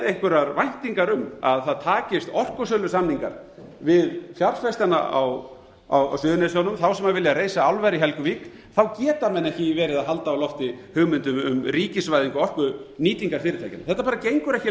einhverjar væntingar um að það takist orkusölusamningar við fjárfestana á suðurnesjunum þá sem vilja reisa álver í helguvík geta menn ekki verið að halda á lofti hugmyndum um ríkisvæðingu orkunýtingarfyrirtækjanna þetta bara gengur ekki